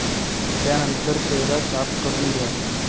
त्यानंतर चेहरा साफ करून घ्या.